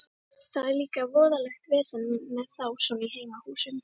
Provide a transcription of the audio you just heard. Það er líka voðalegt vesen með þá svona í heimahúsum.